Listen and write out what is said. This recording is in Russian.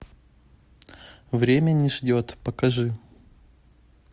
время не ждет покажи